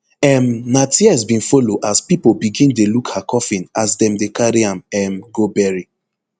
um na tears bin follow as pipo begin dey look her coffin as dem dey carry am um go bury